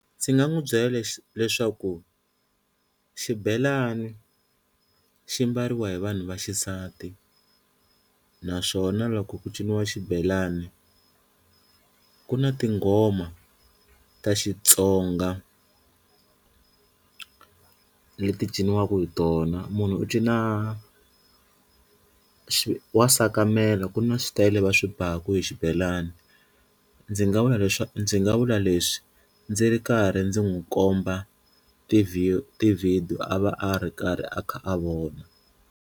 Ndzi nga n'wi byela lexi leswaku xibelani xi mbariwa hi vanhu va xisati naswona loko ku ciniwa xibelani ku na tinghoma ta Xitsonga leti ciniwaka hi tona, munhu u cina xi wa sakamela, ku na switayele va swi baku hi xibelani ndzi nga vula leswi ndzi nga vula leswi ndzi ri karhi ndzi n'wi komba ti ti-video a va a ri karhi a kha a vona.